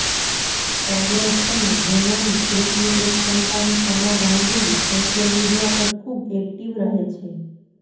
સૌરભ અને ડોનાનું એકનું એક સંતાન સના ગાંગુલી સોશિયલ મીડિયા પર ખૂબ એક્ટિવ રહે છે